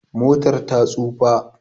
Motar ta tsufa